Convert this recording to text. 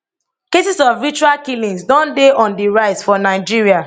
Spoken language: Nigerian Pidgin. cases of ritual killings don dey on di rise for nigeria